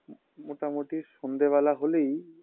মোটামুটি সন্ধ্যাবেলা হলেই